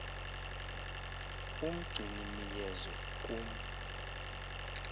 umgcini miyezo kum